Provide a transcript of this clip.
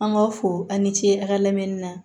An b'a fɔ a ni ce a ka lamɛnni na